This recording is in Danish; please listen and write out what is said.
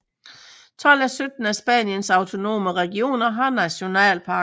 Tolv af sytten af Spaniens autonome regioner har nationalparker